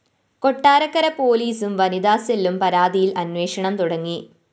കൊട്ടാരക്കര പോലീസും വനിതാസെല്ലും പരാതിയില്‍ അന്വേഷണം തുടങ്ങി